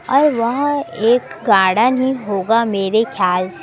और वहां एक गार्डन ही होगा मेरे ख्याल--